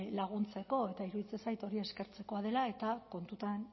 laguntzeko eta iruditzen zait hori eskertzekoa dela eta kontuan